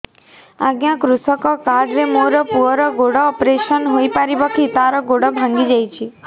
ଅଜ୍ଞା କୃଷକ କାର୍ଡ ରେ ମୋର ପୁଅର ଗୋଡ ଅପେରସନ ହୋଇପାରିବ କି ତାର ଗୋଡ ଭାଙ୍ଗି ଯାଇଛ